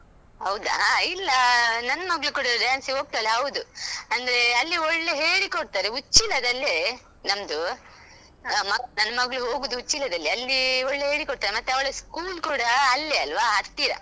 ಹೌದಾ. ಇಲ್ಲ ನನ್ ಮಗಳು ಕೂಡಾ dance ಗೆ ಹೋಗ್ತಾಳೆ ಹೌದು ಅಂದ್ರೆ ಅಲ್ಲಿ ಒಳ್ಳೆ ಹೇಳಿಕೊಡ್ತಾರೆ ಉಚ್ಚಿಲದಲ್ಲೇ ನಮ್ದು. ಹಾ ನನ್ ನನ್ ಮಗ್ಳು ಹೋಗುದು ಉಚ್ಚಿಲದಲ್ಲೇ ಅಲ್ಲಿ ಒಳ್ಳೆ ಹೇಳಿ ಕೊಡ್ತಾರೆ, ಮತ್ತೆ ಅವಳ school ಕೂಡಾ ಅಲ್ಲೇ ಅಲ್ವಾ ಹತ್ತಿರ.